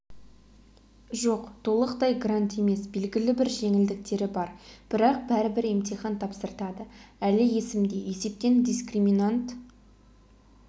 жоқ толықтай грант емес белгілі бір жеңілдіктері бар бірақ бәрібір емтихан тапсыртады әлі есімде есептен дискриминант